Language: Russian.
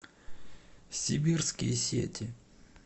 сибирские сети